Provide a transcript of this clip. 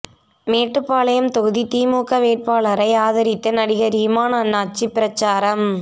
மேட்டுப்பாளையம் தொகுதி திமுக வேட்பாளரை ஆதரித்து நடிகர் இமான் அண்ணாச்சி பிரசாரம்